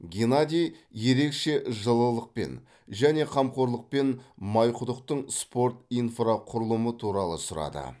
геннадий ерекше жылылықпен және қамқорлықпен майқұдықтың спорт инфрақұрылымы туралы сұрады